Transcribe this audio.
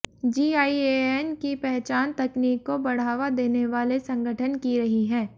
GIAN की पहचान तकनीक को बढ़ावा देने वाले संगठन की रही है